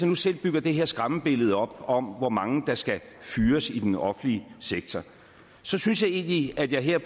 nu selv bygger det her skræmmebillede op om hvor mange der skal fyres i den offentlige sektor så synes jeg egentlig at jeg her